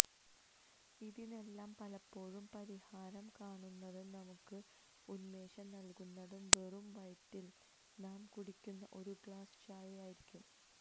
ഇതിനെല്ലാം പലപ്പോഴും പരിഹാരം കാണുന്നതും നമുക്ക് ഉന്മേഷം നല്കുന്നതും വെറും വയറ്റില് നാം കുടിക്കുന്ന ഒരു ഗ്ലാസ്സ് ചായയായിരിക്കും